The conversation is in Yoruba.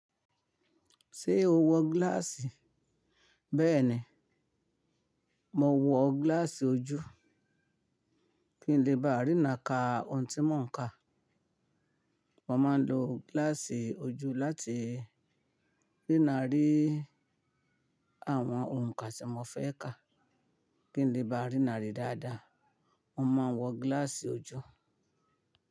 Ṣé o wọ gíláàsì? Bẹ́ẹ̀ni, mo wọ gíláàsì ojú kí n lè bá rína ka ohun tí mò ń ka. Mo máa ń lo gíláàsì ojú láti rína ri àwọn ohun kan tí mo fẹ́ ka. Kí n lè bá rína rí dáadáa, mo máa ń wọ gíláàsì ojú.